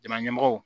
Jamana ɲɛmɔgɔw